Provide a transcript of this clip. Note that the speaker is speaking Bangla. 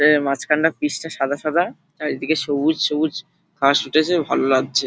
মাঠের মাঝখান টা পিচটা সাদা সাদা আর এদিকে সবুজ সবুজ ঘাস উঠেছে ভালো লাগছে।